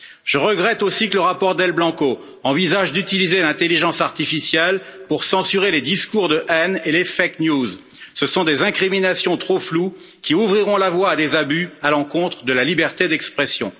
Je regrette aussi que le rapport García Del Blanco envisage d'utiliser l'intelligence artificielle pour censurer les discours de haine et les fausses informations ce sont des incriminations trop floues qui ouvriront la voie à des abus à l'encontre de la liberté d'expression.